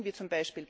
Mechanismen wie